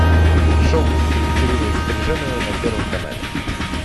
шоу с екатериной стриженовой на первом канале